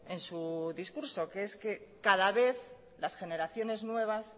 en su discurso que es que cada vez las generaciones nuevas